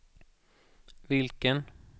vilken